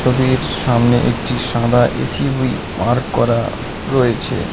ছবির সামনে একটি সাদা এসুবি পার্ক করা রয়েছে।